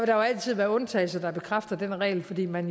der jo altid være undtagelser der bekræfter denne regel fordi man